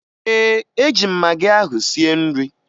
Ee, eji m magị ahụ sie nri